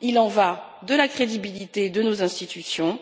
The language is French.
Il en va de la crédibilité de nos institutions